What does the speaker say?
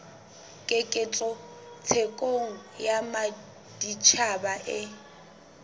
keketseho thekong ya matjhaba e